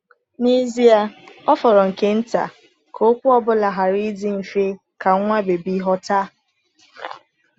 N’ezie, ọ fọrọ nke nta ka okwu ọ bụla ghara ịdị mfe ka nwa bebi ghọta!